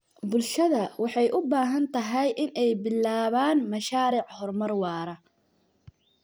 Bulshada waxay u baahan tahay in ay bilaabaan mashaariic horumar waara.